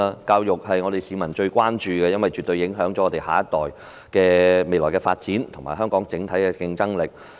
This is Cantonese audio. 教育是市民最關注的課題，因為絕對能影響我們下一代未來的發展及香港整體的競爭力。